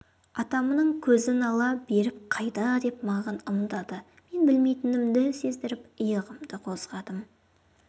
атамның көзін ала беріп қайда деп маған ымдады мен білмейтінімді сездіріп иығымды қозғадым